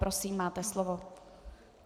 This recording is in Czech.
Prosím, máte slovo.